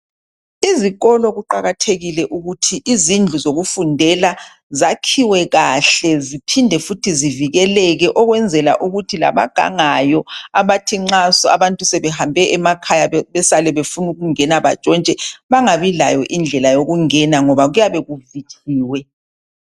Izikolo kuqakathekile ukuthi izindlu zokufundela zakhiwe kahle ziphinde futhi zivikeleke okwenzela ukuthi labagangayo abathi nxa abantu sebehambe emakhaya besale befunukungena bantshintshe bangabi layo indlela yokungena ngoba kuyabe kuvitshiwe.